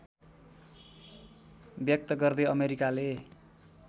व्यक्त गर्दै अमेरिकाले